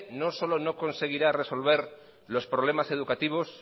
no solo no conseguirá resolver los problemas educativos